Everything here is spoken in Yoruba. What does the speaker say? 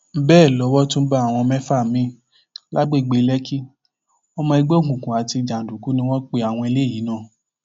bẹẹ lowó tún bá àwọn mẹfà míín lágbègbè lèkì ọmọ ẹgbẹ òkùnkùn àti jàǹdùkú ni wọn pe àwọn eléyìí náà